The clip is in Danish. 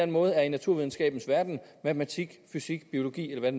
måde er i naturvidenskabens verden matematik fysik biologi eller hvad